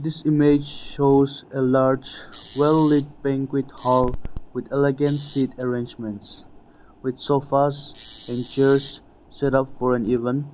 This image shows a large well lit banquet hall with elegant seat arrangements with sofas and chairs set up for an event.